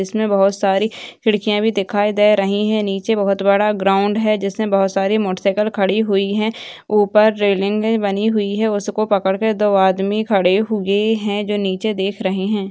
इसमें बहुत सारी खिड़कियाँ भी दिखाई दे रहीं हैं निचे बहुत बड़ा ग्राउंड है जिसमें बहुत सारी मोटरसाइकिल खड़ी हुई हैं ऊपर रेलिंग बनी हुई है उसको पकड़ के दो आदमी खड़े हुए हैं जो निचे देख रहें हैं।